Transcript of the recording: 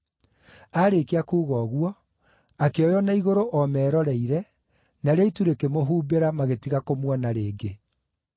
Aarĩkia kuuga ũguo, akĩoywo na igũrũ o meroreire, narĩo itu rĩkĩmũhumbĩra magĩtiga kũmuona rĩngĩ.